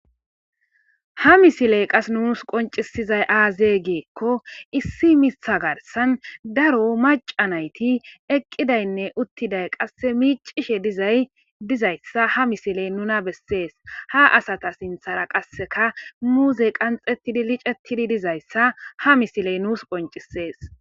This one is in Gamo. Ha misileyi qassi nusi qoncisidayi aze gikko issi mitha garisaanni darro macca nayiti eqidayine utiddayi qasse miccishe dizayita ha misileyi nunna bessesi. ha assata sinthara qassi muzey qanxetidi miccetidi ha nisileyi nus qoncises.